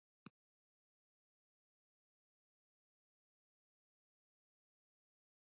Það sást ekki almennilega framan í